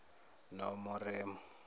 nomoremo